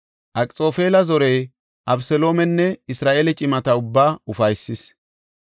Akxoofela zorey Abeseloomenne Isra7eele cimata ubbaa ufaysis.